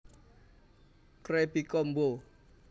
Krabby Combo